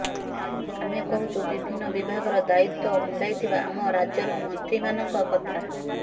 ଆମେ କହୁଛୁ ବିଭିନ୍ନ ବିଭାଗର ଦାୟିତ୍ୱ ମୁଣ୍ଡାଇଥିବା ଆମ ରାଜ୍ୟର ମନ୍ତ୍ରୀମାନଙ୍କ କଥା